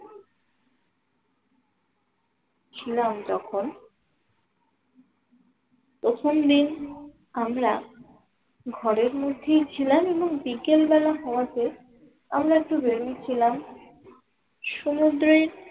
ছিলাম তখন প্রথম দিন আমরা ঘরের মধ্যেই ছিলাম এবং বিকেল বেলা হওয়ার পর আমরা একটু বেরিয়েছিলাম সমুদ্রের